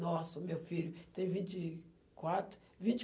Nossa, meu filho tem vinte e quatro, vinte